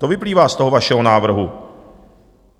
To vyplývá z toho vašeho návrhu.